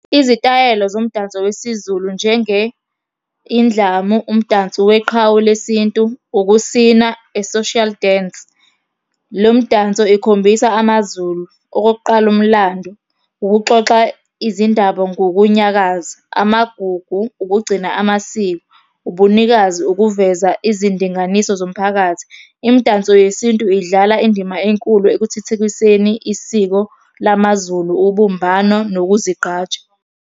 Izitayela zomdanso wesiZulu njenge, indlamu, umdanso weqhawe lesintu, ukusina, a social dance, le mdanso ikhombisa amaZulu. Okokuqala, umlando, ukuxoxa izindaba ngokunyakaza, amagugu, ukugcina amasiko, ubunikazi, ukuveza izindinganiso zomphakathi. Imidanso yesintu idlala indima enkulu ekuthuthukiseni isiko lamaZulu, ubumbano, nokuzigqaja.